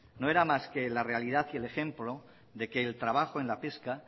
no era más que la realidad y el ejemplo de que el trabajo en la pesca